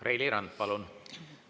Reili Rand, palun!